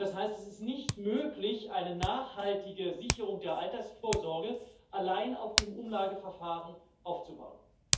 Das heißt, es ist nicht möglich, eine nachhaltige Sicherung der Altersvorsorge allein auf dem Umlageverfahren aufzubauen.